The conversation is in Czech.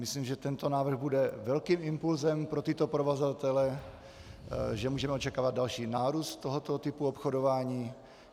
Myslím, že tento návrh bude velkým impulsem pro tyto provozovatele, že můžeme očekávat další nárůst tohoto typu obchodování.